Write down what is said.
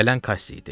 Gələn Kass idi.